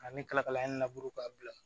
A ne ka kalakala in laburu k'a bila